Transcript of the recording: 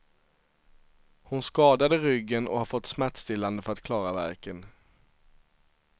Hon skadade ryggen och har fått smärtstillande för att klara värken.